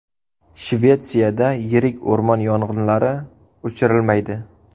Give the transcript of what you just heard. Shvetsiyada yirik o‘rmon yong‘inlari o‘chirilmaydi.